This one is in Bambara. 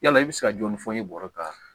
Yala i bɛ se ka jɔni fɔ i bɔr'a